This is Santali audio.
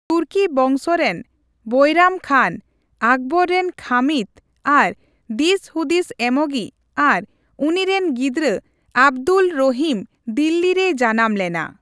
ᱛᱩᱨᱠᱤ ᱵᱚᱝᱥᱚ ᱨᱮᱱ ᱵᱚᱹᱭᱨᱟᱢ ᱠᱷᱟᱱ, ᱟᱠᱵᱚᱨ ᱨᱮᱱ ᱠᱷᱟᱹᱢᱤᱛ ᱟᱨ ᱫᱤᱥᱦᱩᱫᱤᱥ ᱮᱢᱚᱜᱤᱡ, ᱟᱨ ᱩᱱᱤ ᱨᱮᱱ ᱜᱤᱫᱽᱨᱟᱹ ᱟᱵᱽᱫᱩᱞ ᱨᱚᱦᱤᱢ ᱫᱤᱞᱫᱤ ᱨᱮᱭ ᱡᱟᱱᱟᱢ ᱞᱮᱱᱟ ᱾